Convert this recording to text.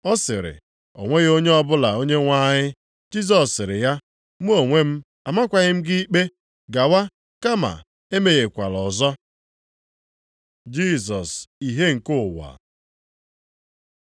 Ọ sịrị, “O nweghị onye ọbụla Onyenwe anyị.” Jisọs sịrị ya, \+wj “Mụ onwe m amakwaghị gị ikpe: Gawa, kama emehiekwala ọzọ.”\+wj* Jisọs ìhè nke ụwa